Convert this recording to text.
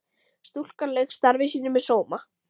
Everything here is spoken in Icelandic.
Stúlkan lauk starfi sínu með sóma.